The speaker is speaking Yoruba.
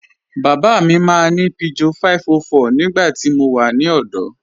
Baba mi maa ni Peugeot 504 nígbàtí mó wà ní ọdọ.